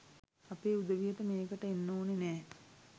අපේ උදවියට මේකට එන්න ඕනෙ නැහැ